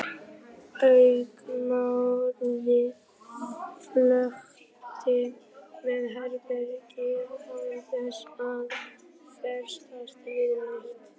Augnaráðið flökti um herbergið án þess að festast við neitt.